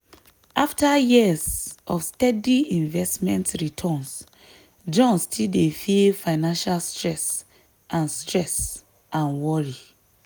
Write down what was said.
after years of steady investment returns john still dey feel financial stress and stress and worry.